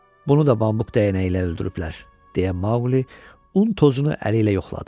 Bunu da bambuk dəyənəyi ilə öldürüblər, deyə Mauqli un tozunu əli ilə yoxladı.